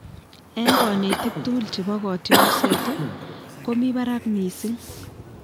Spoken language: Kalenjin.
"Eng konetik tugul chebo kotiorset ,ko mi barak miising "